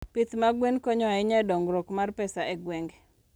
Pith mag gwen konyo ahinya e dongruok mar pesa e gwenge.